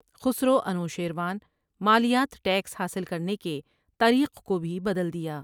خسروانوشیروان مالیات ٹیکس حاصل کرنے کے طریق کو بھی بدل دیا۔